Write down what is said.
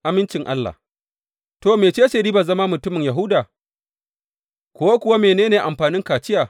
Amincin Allah To, mece ce ribar zama mutumin Yahuda, ko kuwa mene ne amfanin kaciya?